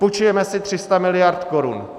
Půjčujeme si 300 miliard korun.